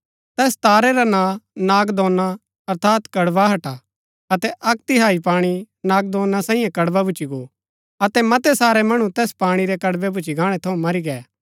तैस तारै रा नां नागदौना अर्थात कड़वाहट हा अतै अक्क तिहाई पाणी नागदौना सांईये कड़वा भूच्ची गो अतै मतै सारै मणु तैस पाणी रै कड़वे भूच्ची गाणै थऊँ मरी गै